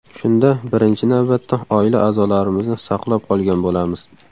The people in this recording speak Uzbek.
Shunda birinchi navbatda oila a’zolarimizni saqlab qolgan bo‘lamiz.